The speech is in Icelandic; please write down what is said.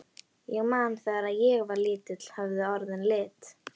Ég man að þegar ég var lítill höfðu orðin lit.